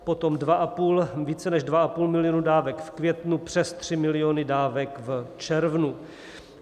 Potom více než 2,5 milionu dávek v květnu, přes 3 miliony dávek v červnu.